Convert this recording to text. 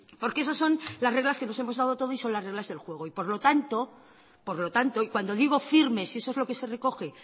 porque esos son las reglas que nos hemos dado todos y son las reglas del juego por lo tanto y cuando digo firmes y eso es lo que se recoge